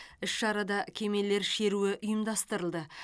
іс шарада кемелер шеруі ұйымдастырылды